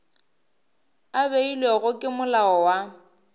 a beilwego ke molao wa